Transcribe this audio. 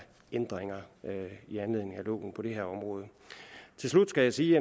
ændringer på det her område til slut skal jeg sige